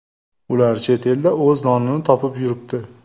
Ular chet elda o‘z nonini topib yuribdi.